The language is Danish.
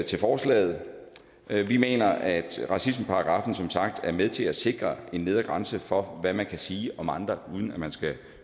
til forslaget vi mener at racismeparagraffen som sagt er med til at sikre en nedre grænse for hvad man kan sige om andre uden at man skal